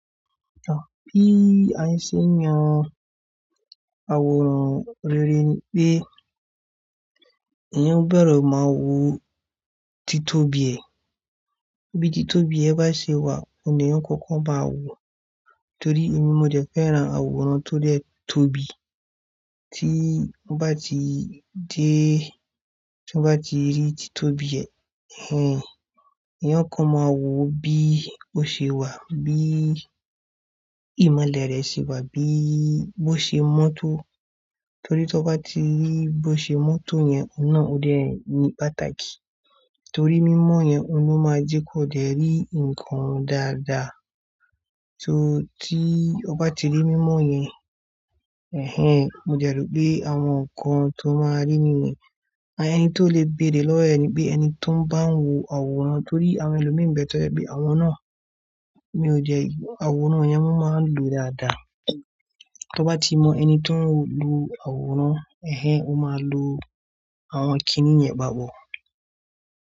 To bí a n ṣe n yán àwòrán rere ni pé, èèyàn ó bẹ̀re máa wo títóbi ẹ. Bí títóbi yẹn bá ṣe wà, òun ni eeyan ọ kọ́kọ́ máa wò ó. Torí èmi mo dẹ̀ fẹ́ran àwòrán tó dè tóbi. Tí ó bá ti dé, tí ó bá ti rí tí tóbi ẹ, ẹ́hẹ́n èèyàn kan máa wò ó bí ó ṣe wà, bí ìmọ̀lẹ̀ rẹ̀ ṣe wà, bí bó ṣe mọ́tò. Torí tí ó bá ti rí bó ṣe mọ́tò yẹn, ọ̀un naà òde ni pàtàkì. Torí mímọ́ yẹn, òun ni ó máa jẹ́ kó dè rí nǹkan dáadáa. Torí tí ó bá ti rí mímọ́ yẹn, ẹ́hẹ́n mo dẹ̀ rọ̀ pé àwọn nǹkan tó máa rí nínú rẹ̀, ẹn tó lè béèrè lọ́wọ́ ni pé ẹni tó ń bá n wò àwòrán torí àwọn ẹlòmí n bẹ̀ to jẹ̀ pé àwọn náà, mi ò dẹ́ aworàn yen, wọn máa ń lo dáadáa. To bá ti mọ ẹni tó ń lo àwòrán, ẹ́hẹ́n ó máa lo àwọn kiní yẹn gba gbọ́.